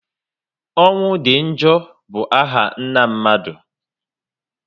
Ọnwụ di njọ bụ áhà nna mmadụ